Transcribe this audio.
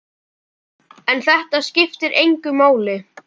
En þetta skiptir engu máli.